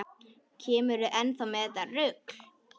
Kemurðu enn með þetta rugl!